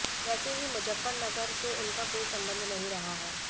वैसे भी मुजफ्फरनगर से उनका कोई सम्बंध नहीं रहा है